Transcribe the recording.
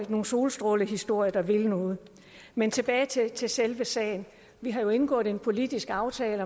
en solstrålehistorie der vil noget men tilbage til selve sagen vi har indgået en politisk aftale